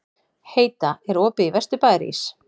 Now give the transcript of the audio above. Heida, er opið í Vesturbæjarís?